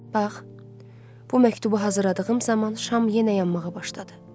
Bax, bu məktubu hazırladığım zaman şam yenə yanmağa başladı.